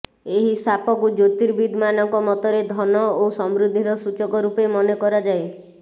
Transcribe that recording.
ଏହି ସାପକୁ ଜ୍ୟୋତିର୍ବିଦ୍ ମାନଙ୍କ ମତରେ ଧନ ଓ ସମୃଦ୍ଧିର ସୂଚକ ରୂପେ ମନେକରାଯାଏ